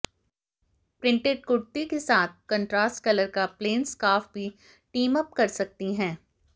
printed kurti के साथ contrast colour का प्लेन स्कार्फ भी टीमअप कर सकती हैं